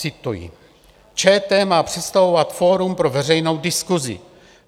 Cituji: "ČT má představovat fórum pro veřejnou diskusi.